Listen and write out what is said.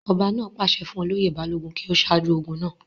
ọba náà pàṣẹ fún olóyè balógun kí ó sáájú ogun náà